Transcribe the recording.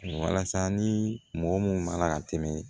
Walasa ni mɔgɔ mun ma na ka tɛmɛ